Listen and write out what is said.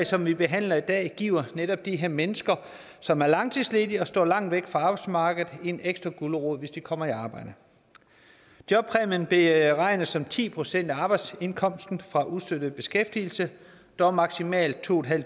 som vi behandler i dag giver netop de her mennesker som er langtidsledige og står langt væk fra arbejdsmarkedet en ekstra gulerod hvis de kommer i arbejde jobpræmien beregnes som ti procent af arbejdsindkomsten fra ustøttet beskæftigelse dog maksimalt to